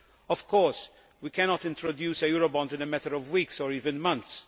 Of course we cannot introduce a Eurobond in a matter of weeks or even months.